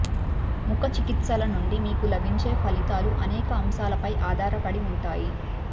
ముఖ చికిత్సల నుండి మీకు లభించే ఫలితాలు అనేక అంశాలపై ఆధారపడి ఉంటాయి